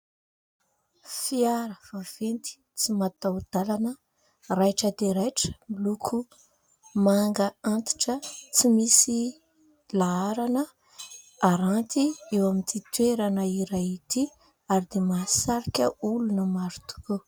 Fiara vaventy tsy mataho-dalana. Raitra dia raitra, miloko manga antitra ; tsy misy laharana haranty eo amin'ity toerana iray ity ary dia mahasarika olona maro tokoa.